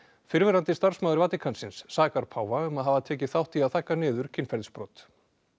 fyrrverandi starfsmaður Vatíkansins sakar páfa um að hafa tekið þátt í að þagga niður kynferðisbrot